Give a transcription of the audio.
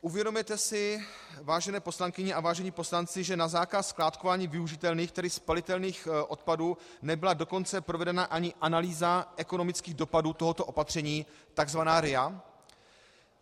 Uvědomujete si, vážené poslankyně a vážení poslanci, že na zákaz skládkování využitelných, tedy spalitelných odpadů nebyla dokonce provedena ani analýza ekonomických dopadů tohoto opatření, tzv. RIA?